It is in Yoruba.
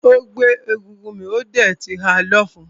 Ó gbé egúngún mì ó dẹ̀ ti ha lọ́fun.